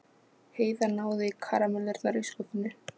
Heiða náði í karamellurnar í skúffunni.